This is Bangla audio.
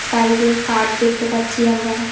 বাইরে কাঠ দেখতে পাচ্ছি আমরা।